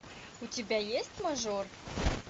у тебя есть мажор